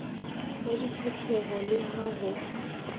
ya ditlhopheho le ha ho